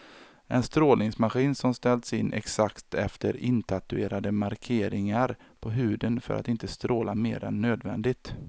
En strålningsmaskin som ställs in exakt efter intatuerade markeringar på huden för att inte stråla mer än nödvändigt.